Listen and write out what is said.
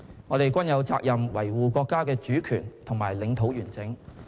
我們均有責任維護國家的主權和領土完整。